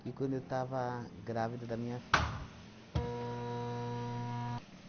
que quando eu estava grávida da minha filha.